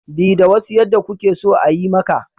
Bi da wasu yadda kuke so a yi maka